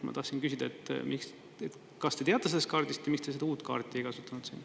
Ma tahtsin küsida, et kas te teate sellest kaardist ja miks te seda uut kaarti ei kasutanud siin.